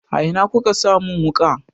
A ina ku ka sa mun wuƙa?